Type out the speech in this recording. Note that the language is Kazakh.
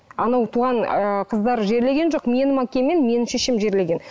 анау туған ы қыздар жерлеген жоқ менің әкем мен менің шешем жерлеген